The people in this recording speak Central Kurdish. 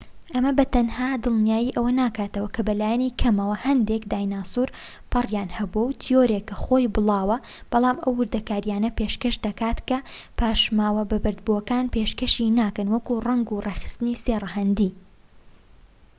ئەمە بە تەنها دڵنیای ئەوە ناکاتەوە کە بەلایەنی کەم هەندێک داینەسور پەڕیان هەبووە تیۆرێک کە خۆی بڵاوە بەڵام ئەو وردەکاریانە پێشکەش دەکات کە پاشماوە بە بەردبووەکان پێشکەشی ناکەن وەک ڕەنگ و ڕێکخستنی سێ ڕەهەندی